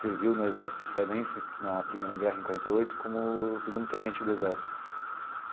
serviu no exército israelense na primeira guerra em quarenta e oito como o segundo tenente do exército.